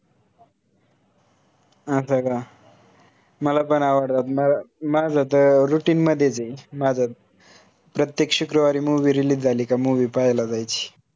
अस का? मला पण आवडतात. म माझं त routine मधेच आहे. माझं प्रत्येक शुक्रवारी movie release झाली का movie पाहायला जायची